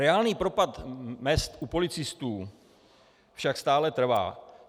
Reálný propad mezd u policistů však stále trvá.